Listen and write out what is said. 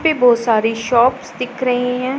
ये बहोत सारे शॉप दिख रही हैं।